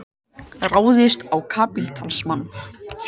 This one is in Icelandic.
Ráðist á kapítalismann.